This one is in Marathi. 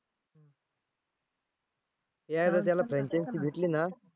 एकदा त्याला Franchise भेटली ना